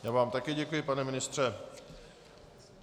Já vám také děkuji, pane ministře.